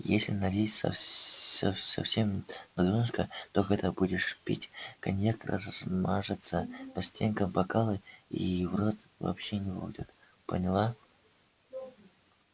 если налить совсем на донышко то когда будешь пить коньяк размажется по стенкам бокала и в рот вообще не попадёт поняла